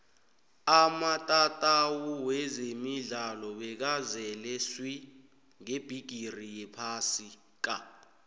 amatatawu wezemidlalo bekazele swi ngebhigiri yephasi ka